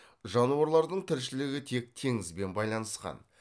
жануарлардың тіршілігі тек теңізбен байланысқан